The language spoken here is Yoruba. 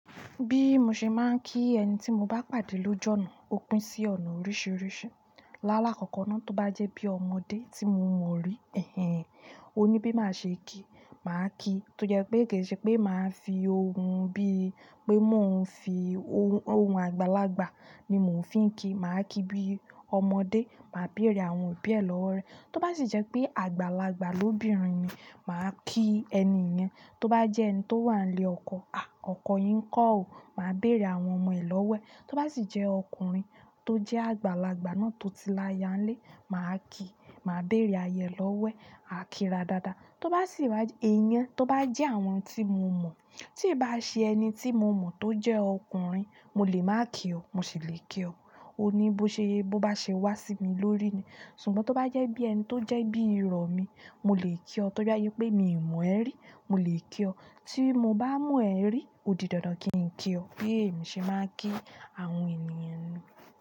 Bí mo ṣe máa ń kí ẹni tí mo bá pàdé lóju ọ́na, ó pín sí ọ̀nà oríṣiríṣi. Láàlá kọ̀ọ̀kan náà, tó bá jẹ́ bí ọmọdé tí mo mọ rí, ó ní bí màá ṣe kíi, màá kíi. Tó jẹ́ pé kì í ṣe pé màá fi ohun bí pé máa ń fi ohun àgbàlagbà ni mò ń fi ń kíi, màá kíi bí ọmọdé, màá bèrè àwọn òbí ẹ lọ́wo rẹ́. Tó bá sì jẹ́ pé àgbàlagbà lóbìnrin ni, màá kíi ẹni yẹn. Tó bá jẹ́ ẹni tó wà nílé ọkọ, "à, ọkọ yín ńkọ́ ó?" Màá bèerè àwọn ọmọ ẹ lọ́wo ẹ́. Tó bá sì jẹ́ ọkùnrin tó jẹ́ àgbàlagbà náà tó ti la'ya nílé, màá kíi, màá bèrè aya ẹ lọ́wo ẹ́, à kí ra dáadáa. Tó bá sì wàjẹ́, è yẹn tó bá jẹ́ àwọn tí mo mọ̀. Tí ì bá ṣe ẹni tí mo mọ̀ tó jẹ́ ọkùnrin, mo lè máa kí o, mo sì lè kí o. Ó ní bó ṣe, bó bá ṣe wá sí mi lórí ni. Ṣùgbọ́n tó bá jẹ́ bí ẹni tó jẹ́ bí irọ́ mi, mo lè kí. Tó bá jé pé mi ò mọ̀ ẹ rí, mo lè kí ọ. Tí mo bá mọ̀ ẹ rí, ó di dandan kí n kí ọ. Bi emi se máa ń kí àwọn ènìyàn.